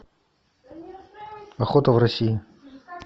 охота в россии